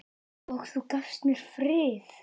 Og þú gafst mér frið.